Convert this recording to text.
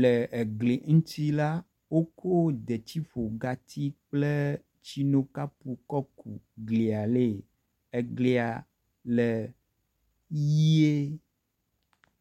Le egli ŋtsi la, wo ko detsiƒogatsi kple tsinokapu kɔ gu glia le. Eglia le ʋie.